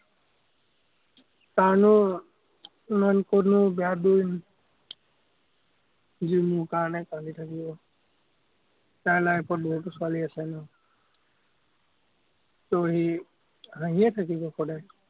তাৰনো বেয়া দিন, যি মোৰ কাৰণে কান্দি থাকিব। যাৰ life ত বহুতো ছোৱালী আছে ন ত সি হাঁহিয়ে থাকিব সদায়।